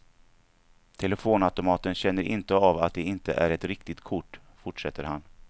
Telefonautomaten känner inte av att det inte är ett riktigt kort, fortsätter han.